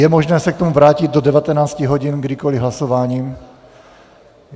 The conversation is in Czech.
Je možné se k tomu vrátit do 19 hodin kdykoliv hlasováním.